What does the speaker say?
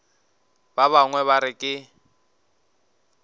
ba bangwe ba re ke